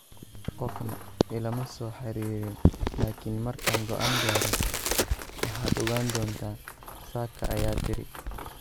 Qofna ilama soo xiriirin laakiin markaan go'aan gaaro waad ogaan doontaa, Saka ayaa tiri.